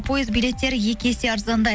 пойыз билеттері екі есе арзандайды